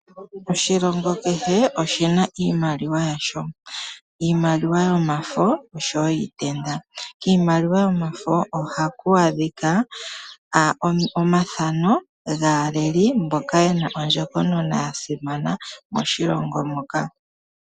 Oshilongo kehe oshina iimaliwa yasho, iimaliwa yomafo oshowo yiitenda. Kiimaliwa yo mafo ohaku adhiwa omathano gaa leli mboka yena ondjokonona ya simana moshilongo muka.